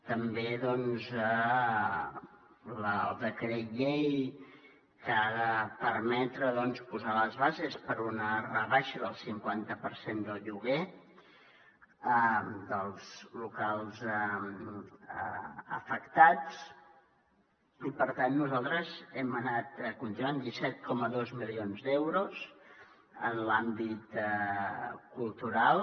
també doncs el decret llei que ha de permetre posar les bases per a una rebaixa del cinquanta per cent del lloguer dels locals afectats i per tant nosaltres hem anat continuant disset coma dos milions d’euros en l’àmbit cultural